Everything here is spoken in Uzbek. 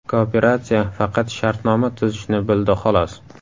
Kooperatsiya faqat shartnoma tuzishni bildi xolos.